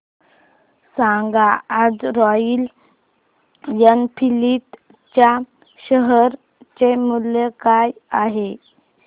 सांगा आज Royal Enfield च्या शेअर चे मूल्य काय आहे